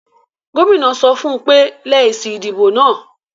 Gómìnà náà sọ fún ùn pé; lẹ èsì ìdìbò náà